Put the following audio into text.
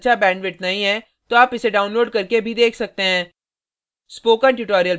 यदि आपके पास अच्छा bandwidth नहीं है तो आप इसे download करके देख सकते हैं